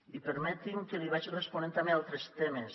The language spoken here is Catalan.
i permeti’m que li vagi responent també a altres temes